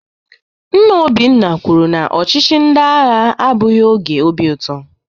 Nna Obinna kwuru na ọchịchị ndị agha abụghị oge obi ụtọ